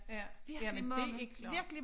Ja jamen det er klart